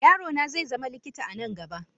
Yaro na zai zama likita a nan gaba.